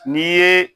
N'i ye